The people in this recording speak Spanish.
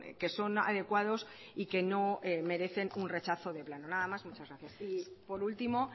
que son adecuados y que no merecen un rechazo de plano nada y muchas gracias y por último